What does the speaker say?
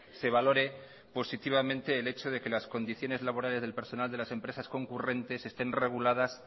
se valore positivamente el hecho de que las condiciones laborales del personal de las empresas concurrentes estén reguladas